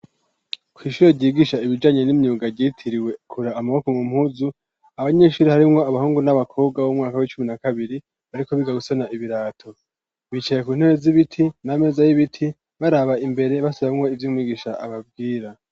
Ku ishuro ryigisha ibijanye n'imyuga ryitiriwe kura amaboko mu mpuzu abanyeshuri harimwo abahungu n'abakobwa b'umwaka w'icumi na kabiri ariko bigagusona ibirato bicaye ku ntebe z'ibiti n'ameza y'ibiti baraba imbere basubemwo ivy'umwigisha ababwira